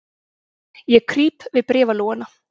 Ég krýp við bréfalúguna.